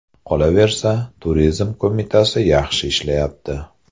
Qolaversa... Turizm qo‘mitasi yaxshi ishlayapti.